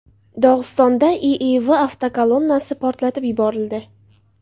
Dog‘istonda IIV avtokolonnasi portlatib yuborildi.